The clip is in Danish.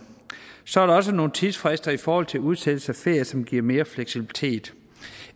så er der også nogle tidsfrister i forhold til udsættelse af ferier som giver mere fleksibilitet